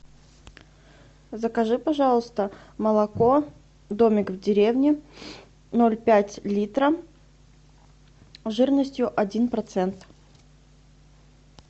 закажи пожалуйста молоко домик в деревне ноль пять литра жирностью один процент